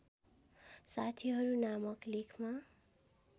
साथीहरू नामक लेखमा